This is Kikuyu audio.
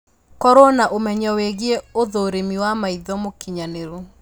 korũo na ũmenyo wĩgiĩ ũthũrimi wa maitho mũkinyanĩru